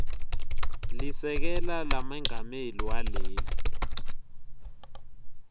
lisekela lamengameli waleli